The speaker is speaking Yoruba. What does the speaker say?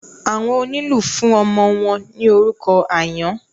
Àwọn onílù fún ọmọ wọn ní orúkọ àyán.